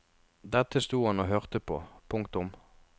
Dette sto han og hørte på. punktum